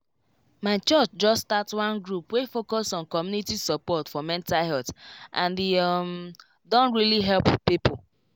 my church just start one group wey focus on community support for mental health and e um don really help people